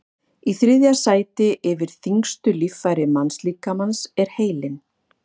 í þriðja sæti yfir þyngstu líffæri mannslíkamans er heilinn